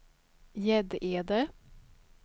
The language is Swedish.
Gäddede